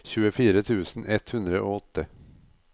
tjuefire tusen ett hundre og åtte